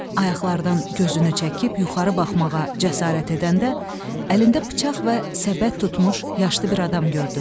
Ayaqlardan gözünü çəkib yuxarı baxmağa cəsarət edəndə, əlində bıçaq və səbət tutmuş yaşlı bir adam gördü.